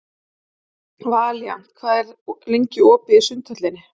Valíant, hvað er lengi opið í Sundhöllinni?